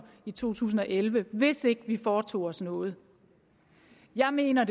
i to tusind og elleve hvis ikke vi foretog os noget jeg mener